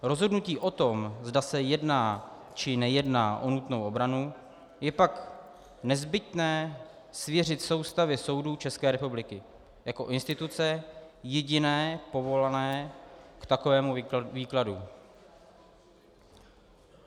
Rozhodnutí o tom, zda se jedná, či nejedná o nutnou obranu, je pak nezbytné svěřit soustavě soudů České republiky jako instituce jediné povolané k takovému výkladu.